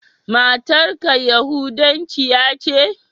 Matar ka yahudancia ce?